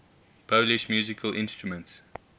polish musical instruments